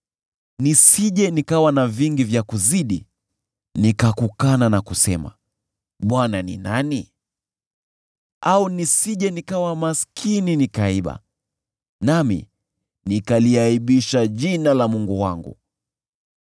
Nisije nikawa na vingi vya kuzidi nikakukana na kusema, ‘ Bwana ni nani?’ Au nisije nikawa maskini nikaiba, nami nikaliaibisha jina la Mungu wangu.